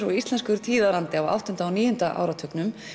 og íslenskur tíðarandi á áttunda og níunda áratugnum